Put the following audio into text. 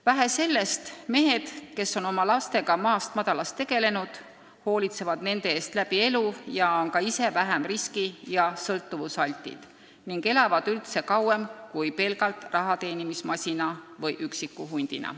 Vähe sellest, mehed, kes oma lastega maast-madalast tegelevad ja hoolitsevad nende eest läbi elu, on ise vähem riski- ja sõltuvusaltid ning elavad üldse kauem kui need, kes on pelgalt rahateenimismasinad või üksikud hundid.